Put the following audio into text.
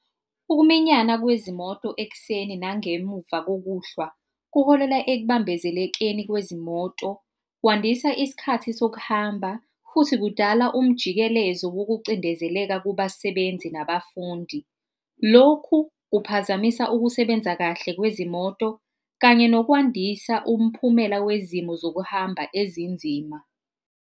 Ukuminyana kwezimoto ekuseni nangemuva kokuhlwa kuholela ekubambezelekeni kwezimoto kwandisa isikhathi sokuhamba, futhi kudala umjikelezo wokucindezeleka kubasebenzi nabafundi. Lokhu kuphazamisa ukusebenza kahle kwezimoto kanye nokwandisa umphumela wezimo zokuhamba ezinzima.